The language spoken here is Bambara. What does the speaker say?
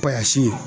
Pasi